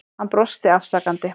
Hann brosti afsakandi.